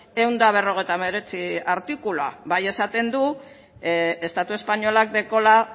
ehun eta berrogeita hemeretzi artikuluan bai esaten du estatu espainolak dekola